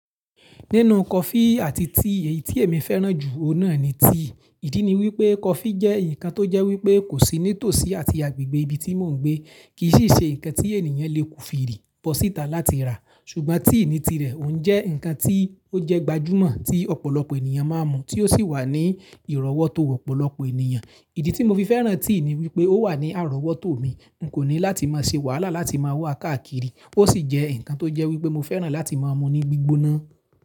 Nínú coffee àti tea, èyí tí èmi fẹ́ràn jù ọ̀nà ni tea. Ìdí ni wípé coffee jẹ́ ǹkan tó jẹ́ wípé kò sí nítòsí àti agbègbè ibi tí mò ń gbé, kì í sì ṣe ǹkan tí ènìyàn lè kùfi rì bọ́ síta láti rà. Ṣùgbọ́n tea ní tirẹ̀, òun jẹ́ ǹkan tí ó jẹ́ gbajúmọ̀ tí ọ̀pọ̀lọpọ̀ ènìyàn máa ń mu, tí ó sì wà ní ìrọ́wótó ọ̀pọ̀lọpọ̀ ènìyàn. Ìdí tí mo fi fẹ́ràn tea ni wípé ó wà ní àrọ́wótó mi, n kò ní láti máa ṣe wàhálà láti máa waàkáàkiri, ó sì jẹ́ ǹkan tó jẹ́ wípé mo fẹ́ràn láti máa mu ní gbígbóná.